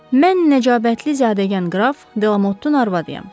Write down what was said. Mən nəcabətli zadəgan qraf Delamotun arvadıyam.